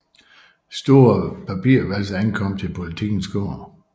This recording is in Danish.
Store papirvalser ankommer til Politikens gård